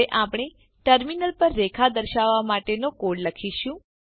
હવે આપણે ટર્મિનલ પર રેખા દર્શાવવા માટેનો કોડ લખીશું